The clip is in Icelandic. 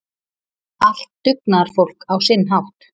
Allt dugnaðarfólk á sinn hátt.